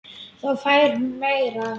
Þá fær hún meira.